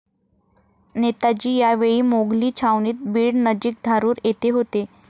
नेताजी या वेळी मोघली छावणीत बीड नजीक धारूर येथे होते.